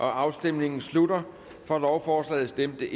afstemningen slutter for stemte